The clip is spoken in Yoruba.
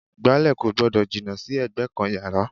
Ìgbálẹ̀ kò gbọ́dọ̀ jìnnà sí ẹ̀gbẹ́ kan yàrá